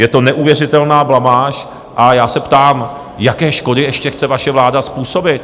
Je to neuvěřitelná blamáž a já se ptám, jaké škody ještě chce vaše vláda způsobit.